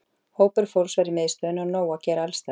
Hópur fólks var í miðstöðinni og nóg að gera alls staðar.